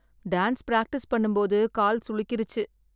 Dance practice பண்ணும் போது கால் சுளுக்கிருச்சு.